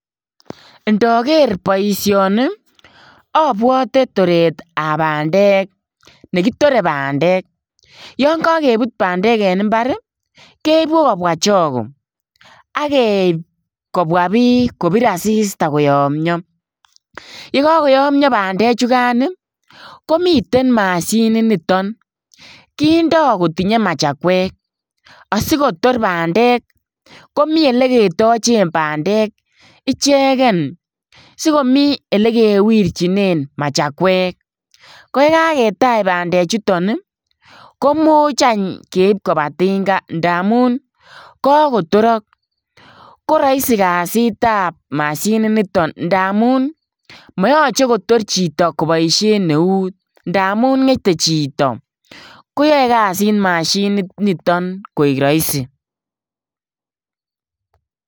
Ndaker boisioni abwote toretap bandek nekitore bandek, yonkakeput bandek eng mbar, keipu kobwa choke akeip kobwa biik kopir asista koyomyo. Yekakoyomyo bandechukan, komiten mashininito, kondoi kotinye machakwek, asikotor bandek komi oleketochen bendek icheken sikomi olikewirchinen machakwek. Koi kaketach bandechuton ko much any keip kopa tinga ndamun kakotorok. Ko rahisi kasitap mashiniton ndamun mayoche kotor chito kopoishen eut ndamun ng'ete chito, koyoe kasit mashininiton koek rahisi.